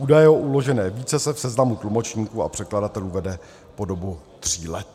Údaj o uložené výtce se v seznamu tlumočníků a překladatelů vede po dobu tří let.